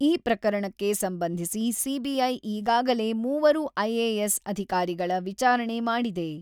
ಈ ಪ್ರಕರಣಕ್ಕೆ ಸಂಬಂಧಿಸಿ ಸಿಬಿಐ, ಈಗಾಗಲೇ ಮೂವರು ಐಎಎಸ್ ಅಧಿಕಾರಿಗಳ ವಿಚಾರಣೆ ಮಾಡಿದೆ.